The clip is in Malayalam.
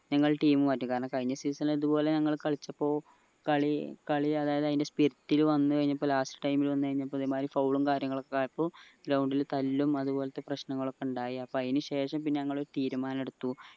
നിങ്ങൾ team മാറ്റി കാരണം കഴിഞ്ഞ season ഇതുപോലെ ഞങ്ങൾ കളിച്ചപ്പോൾ കളി കളി അതായത് അതിന്റെ spirit ൽ വന്ന് കഴിഞ്ഞപ്പോ last time ൽ വന്ന് കഴിഞ്ഞപ്പോ ഇതേമാരി foul ഉം കാര്യങ്ങളൊക്കെ ആയപ്പോ ground ൽ തല്ലും അതുപോലെതന്നെ പ്രശ്നങ്ങളൊക്കെ ഉണ്ടായ അപ്പൊ അയിന്ശേ ഷം പിന്നെ ഞങ്ങൾ തീരുമാനം എടുത്തു